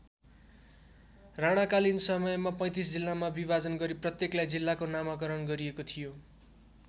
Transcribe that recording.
राणाकालीन समयमा ३५ जिल्लामा विभाजन गरी प्रत्येकलाई जिल्लाको नामकरण गरिएको थियो।